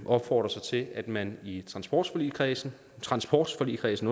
opfordrer så til at man i transportforligskredsen transportforligskredsen